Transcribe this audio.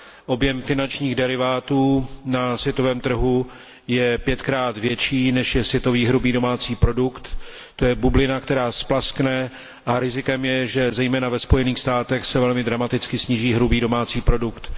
Objem finančních derivátů na světovém trhu je pětkrát větší, než je světový hrubý domácí produkt, to je bublina, která splaskne, a rizikem je, že zejména ve Spojených státech se velmi dramaticky sníží hrubý domácí produkt.